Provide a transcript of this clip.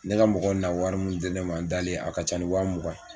Ne ka mɔgɔw na wari mun di ne ma n dalen a ka ca ni waa mugan ye.